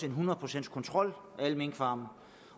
hundrede procents kontrol af alle minkfarme